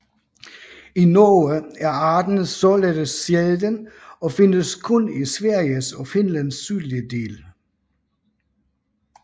I Norge er arten således sjælden og findes kun i Sveriges og Finlands sydlige dele